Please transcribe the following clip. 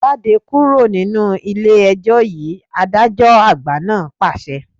Jáde kúrò nínú ilé ẹjọ́ yìí, adájọ́ àgbà náà pàṣẹ